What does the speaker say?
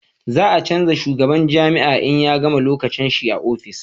za a canja shugaban jami'a in ya gama lokacin shi a ofis